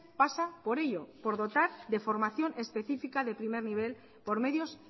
pasa por ello por dotar de formación específica de primer nivel por medios